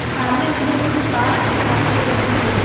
सामने हमें कुछ कार दिखाई दे रही है।